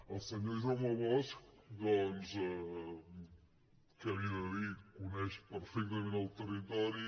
al senyor jaume bosch doncs què li he de dir coneix perfectament el territori